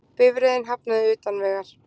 Bifreiðin hafnaði utan vegar